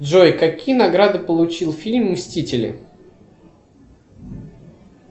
джой какие награды получил фильм мстители